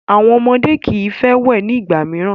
Àwọn ọmọdé kii fẹ wẹ̀ ni ìgbà mìíràn.